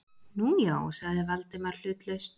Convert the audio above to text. Nú, já- sagði Valdimar hlutlaust.